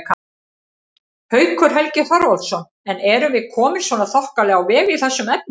Haukur Helgi Þorvaldsson: En erum við komin svona þokkalega á veg í þessum efnum?